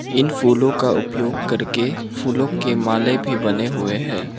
इन फूलों का उपयोग करके फूलों के माले भी बने हुए हैं।